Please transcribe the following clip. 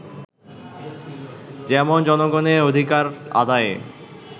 যেমন জনগণের অধিকার আদায়ে